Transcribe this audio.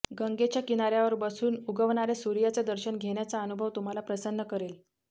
गंगेच्या किनाऱ्यावर बसून उगवणाऱ्या सूर्याचं दर्शन घेण्याचा अनुभव तुम्हाला प्रसन्न करेल